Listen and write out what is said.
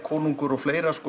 konungur og fleiri